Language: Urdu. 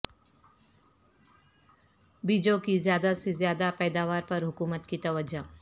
بیجوں کی زیادہ سے زیادہ پیداوار پر حکومت کی توجہ